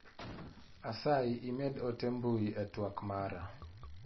Asayi imed ote mbui e twak mara.